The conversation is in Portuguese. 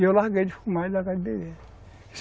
E eu larguei de fumar e larguei de beber.